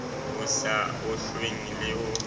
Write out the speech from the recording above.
ho sa ohlweng le ho